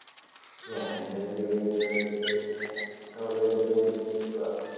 ഞാൻ ഇങ്ങനെ ചെറിയ പരിപാടികളായിട്ടിങ്ങനെ അവിടിവിടായിട്ടൊക്കെ നിക്കുവാ.